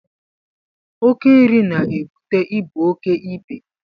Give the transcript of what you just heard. Oké nri na-ebute ibu oké ibe